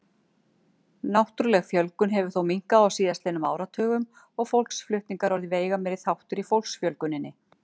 Náttúrleg fjölgun hefur þó minnkað á síðastliðnum áratugum og fólksflutningar orðið veigameiri þáttur í fólksfjölguninni.